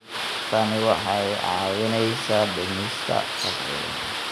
Tani waxay kaa caawinaysaa dhimista faqriga.